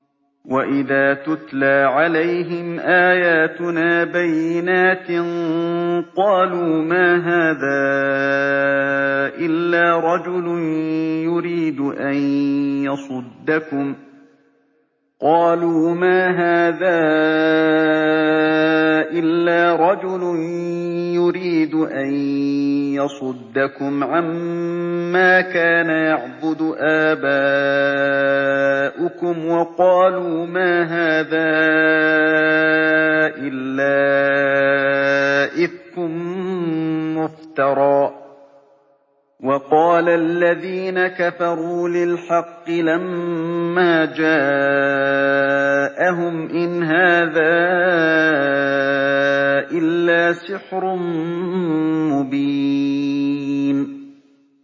وَإِذَا تُتْلَىٰ عَلَيْهِمْ آيَاتُنَا بَيِّنَاتٍ قَالُوا مَا هَٰذَا إِلَّا رَجُلٌ يُرِيدُ أَن يَصُدَّكُمْ عَمَّا كَانَ يَعْبُدُ آبَاؤُكُمْ وَقَالُوا مَا هَٰذَا إِلَّا إِفْكٌ مُّفْتَرًى ۚ وَقَالَ الَّذِينَ كَفَرُوا لِلْحَقِّ لَمَّا جَاءَهُمْ إِنْ هَٰذَا إِلَّا سِحْرٌ مُّبِينٌ